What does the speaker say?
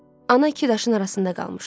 Ana iki daşın arasında qalmışdı.